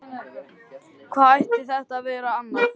Hvað ætti þetta að vera annað?